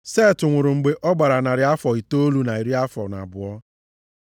Set nwụrụ mgbe ọ gbara narị afọ itoolu na iri afọ na abụọ.